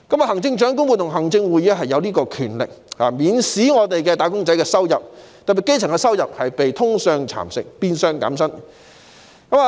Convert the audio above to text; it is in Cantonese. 行政長官會同行政會議有權免使"打工仔"的收入被通脹蠶食，變相減薪。